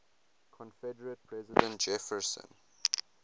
confederate president jefferson